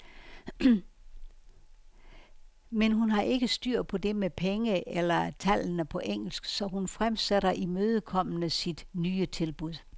Men hun har ikke styr på det med penge eller tallene på engelsk, så hun fremsætter imødekommende sit nye tilbud.